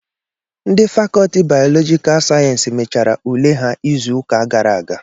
Ndị fakọtị bayọlọjika sayensịs mechara ule ha izu ụka gara aga